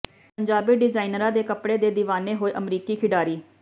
ਪੰਜਾਬੀ ਡਿਜ਼ਾਈਨਰਾਂ ਦੇ ਕੱਪੜਿਆਂ ਦੇ ਦੀਵਾਨੇ ਹੋਏ ਅਮਰੀਕੀ ਖਿਡਾਰੀ